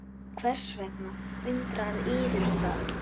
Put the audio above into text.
Og hvers vegna undrar yður það?